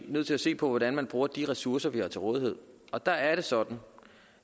jo nødt til at se på hvordan man bruger de ressourcer der er til rådighed og der er det sådan